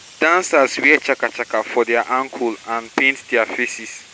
di dancers wear chaka chaka for dia ankle and paint dia faces